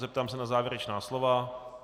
Zeptám se na závěrečná slova.